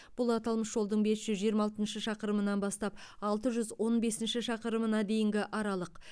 бұл аталмыш жолдың бес жүз жиырма алтыншы шақырымынан бастап алты жүз он бесінші шақырымына дейінгі аралық